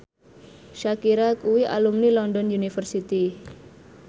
Shakira kuwi alumni London University